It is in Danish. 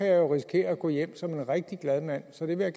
jeg jo risikere at gå hjem som en rigtig glad mand så det vil